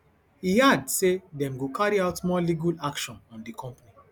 e add say dem go carry out more legal action on di company